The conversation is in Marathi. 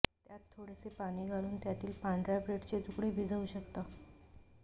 त्यात थोडेसे पाणी घालून त्यातील पांढर्या ब्रेडचे तुकडे भिजवू शकता